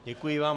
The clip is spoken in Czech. Děkuji vám.